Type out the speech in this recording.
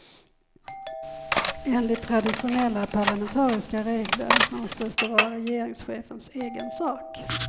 Enligt traditionella, parlamentariska regler anses det vara regeringschefens egen sak.